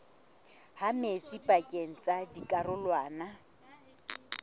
ha metsi pakeng tsa dikarolwana